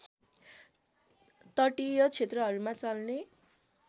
तटीय क्षेत्रहरूमा चल्ने